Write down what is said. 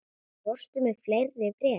Fórstu með fleiri bréf?